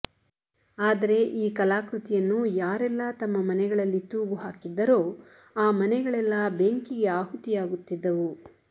ಆದರೆ ಈ ಕಲಾಕೃತಿಯನ್ನು ಯಾರೆಲ್ಲಾ ತಮ್ಮ ಮನೆಗಳಲ್ಲಿ ತೂಗು ಹಾಕಿದ್ದರೋ ಆ ಮನೆಗಳೆಲ್ಲಾ ಬೆಂಕಿಗೆ ಆಹುತಿಯಾಗುತ್ತಿದ್ದವು